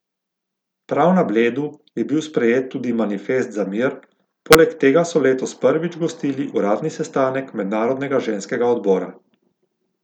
Prav na Bledu je bil sprejet tudi Manifest za mir, poleg tega so letos prvič gostili uradni sestanek mednarodnega ženskega odbora.